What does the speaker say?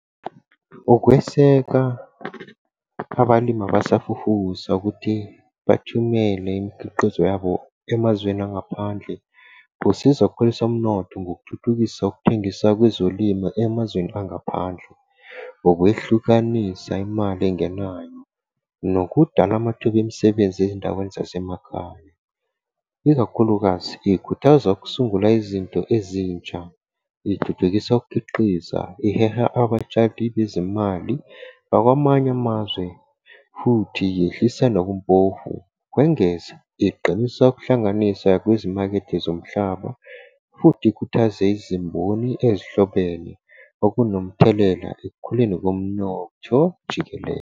Ukweseka abalimi abasafufusa ukuthi bathumele imikhiqizo yabo emazweni angaphandle, kusiza ukukhulisa umnotho ngokuthuthukisa ukuthengiswa kwezolimo emazweni angaphandle. Ukwehlukanisa imali engenayo nokudala amathuba emisebenzi ey'ndaweni zasemakhaya. Ikakhulukazi, ikhuthaza ukusungula izinto ezintsha. Ithuthukisa ukukhiqiza, iheha abatshali bezimali bakwamanye amazwe futhi yehlisa nobumpofu. Ukwengeza, iqinisa ukuhlanganisa kwezimakethe zomhlaba, futhi ikhuthaza izimboni ezihlobene, okunomthelela ekukhuleni komnotho jikelele.